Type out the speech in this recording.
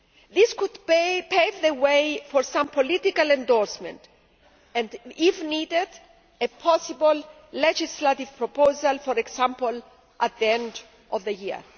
This could pave the way for some political endorsement and, if needed, a possible legislative proposal, for example, at the end of the year.